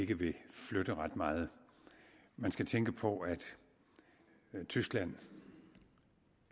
ikke vil flytte ret meget man skal tænke på at tyskland